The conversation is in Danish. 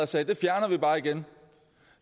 sagde det fjerner vi bare igen